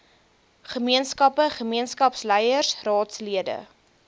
gemeenskappe gemeenskapsleiers raadslede